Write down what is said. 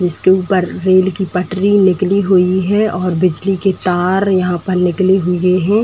इसके ऊपर रेल की पटरी निकली हुई है और बिजली के तार यहां पर निकले हए हैं।